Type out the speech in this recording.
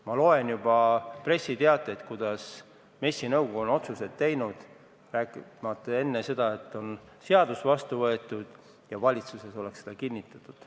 Ma loen juba pressiteateid, et MES-i nõukogu on otsuseid teinud, kuigi seadus pole veel vastu võetud ja valitsus pole midagi kinnitanud.